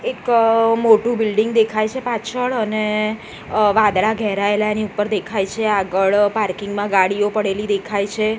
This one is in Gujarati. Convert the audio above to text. એક મોટુ બિલ્ડિંગ દેખાય છે પાછળ અને અ વાદળા ઘેરાયેલા આની ઉપર દેખાય છે આગળ પાર્કિંગ મા ગાડીઓ પડેલી દેખાય છે.